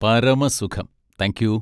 പരമസുഖം, thank you.